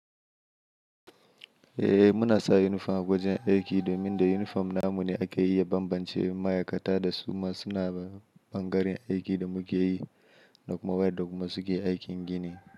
Eh muna sa yunifom a wajen aiki, domin da yunifom namu ne ake iya banbance ma'aikata da su ma suna ɓangaren aiki da muke yi, da ku ma waƴan da kuma suke aikin gini.